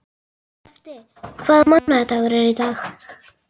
Skafti, hvaða mánaðardagur er í dag?